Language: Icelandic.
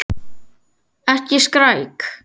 Ekki skræk.